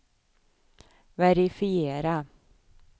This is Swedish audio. verifiera